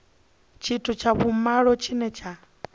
tshithu tsha vhumalo tshine tsha